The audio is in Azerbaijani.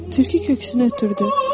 Tülkü köksünə ötürdü.